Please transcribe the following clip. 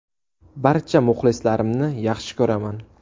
Barcha muxlislarimni yaxshi ko‘raman.